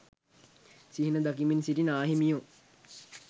සිහින දකිමින් සිටි නාහිමියෝ